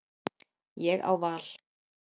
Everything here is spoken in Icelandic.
Ég á val.